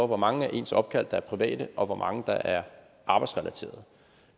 hvor mange af ens opkald der er private og hvor mange der er arbejdsrelaterede